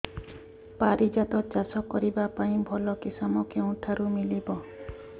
ପାରିଜାତ ଚାଷ କରିବା ପାଇଁ ଭଲ କିଶମ କେଉଁଠାରୁ ମିଳିବ